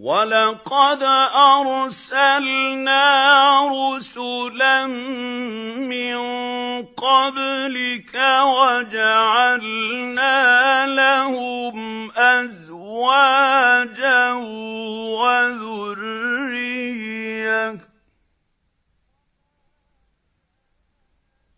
وَلَقَدْ أَرْسَلْنَا رُسُلًا مِّن قَبْلِكَ وَجَعَلْنَا لَهُمْ أَزْوَاجًا وَذُرِّيَّةً ۚ